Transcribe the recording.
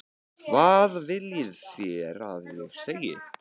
Hvað viljið þið að ég segi?